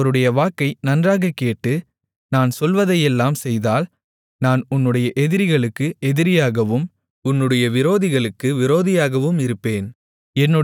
நீ அவருடைய வாக்கை நன்றாகக் கேட்டு நான் சொல்வதையெல்லாம் செய்தால் நான் உன்னுடைய எதிரிகளுக்கு எதிரியாகவும் உன்னுடைய விரோதிகளுக்கு விரோதியாகவும் இருப்பேன்